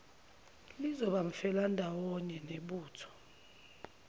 lizoba umfelandawonye nebutho